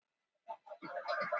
segir nefnilega einn strákur.